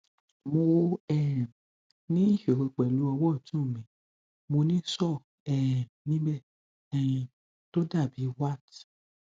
mo um ní ìṣòro pẹlú ọwọ ọtún mi mo ní sore um níbẹ um tó dàbí wart